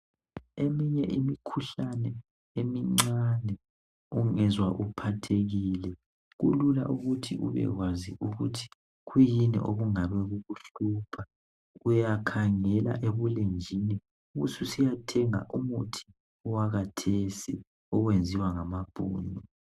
Eminye imikhuhlane emincane ungezwa uphathekile, kulula ukuthi ubekwazi ukuthi kuyini okungabe kukuhlupha, uyakhangela ebulenjini ubususiyathenga umuthi wakhathesi oyenziwa ngamabhunu